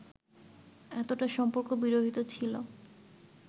এতটা সম্পর্ক বিরহিত ছিল